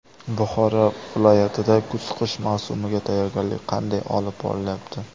Buxoro viloyatida kuz-qish mavsumiga tayyorgarlik qanday olib borilyapti?.